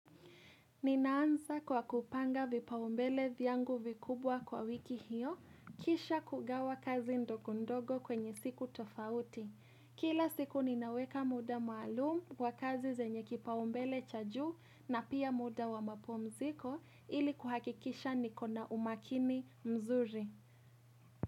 Ninaanza kwa kupanga vipaumbele vyangu vikubwa kwa wiki hiyo, kisha kugawa kazi ndogondogo kwenye siku tofauti. Kila siku ninaweka muda maalum kwa kazi zenye kipaumbele cha juu na pia muda wa mapumziko ili kuhakikisha nikona umakini mzuri.